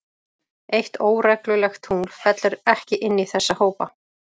Eitt óreglulegt tungl fellur ekki inn í þessa hópa.